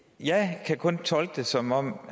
jeg kan kun tolke det som om